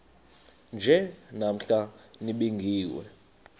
nje namhla nibingiwe